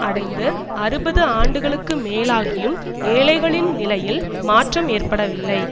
அடைந்து அறுபது ஆண்டுகளுக்கு மேலாகியும் ஏழைகளின் நிலையில் மாற்றம் ஏற்படவில்லை